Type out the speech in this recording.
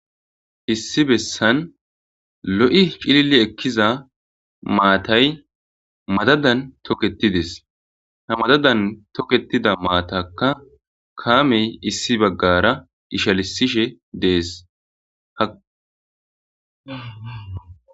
Issi bessan lo'i cillili ekkiza maatay madadan tooketidesi ha madadan tooketida maataka kaamey issi baggara ishshalisishe desi.